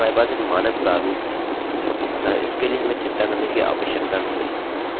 इसके लिए हमारे पास एक मानक प्रारूप है अतः इसके लिए हमें चिंता करने की आवश्यकता नहीं है